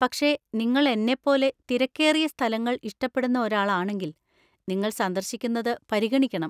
പക്ഷേ, നിങ്ങൾ എന്നെപ്പോലെ തിരക്കേറിയ സ്ഥലങ്ങൾ ഇഷ്ടപ്പെടുന്ന ഒരാളാണെങ്കിൽ, നിങ്ങൾ സന്ദർശിക്കുന്നത് പരിഗണിക്കണം.